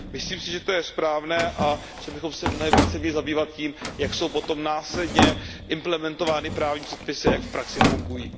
Myslím si, že je to správné a že bychom se mnohem více měli zabývat tím, jak jsou potom následně implementovány právní předpisy a jak v praxi fungují.